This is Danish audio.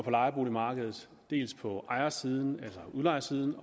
lejeboligmarkedet dels på ejersiden altså udlejersiden